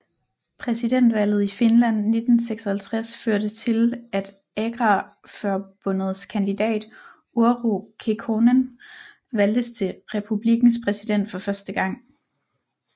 Præsidentvalget i Finland 1956 førte til at Agrarförbundets kandidat Urho Kekkonen valgtes til republikkens præsident for første gang